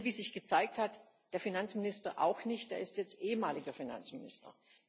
Wie sich gezeigt hat der Finanzminister auch nicht, er ist jetzt ehemaliger Finanzminister.